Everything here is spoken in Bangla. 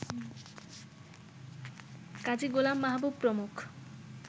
কাজী গোলাম মাহবুব প্রমুখ